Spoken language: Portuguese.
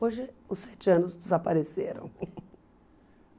Hoje os sete anos desapareceram.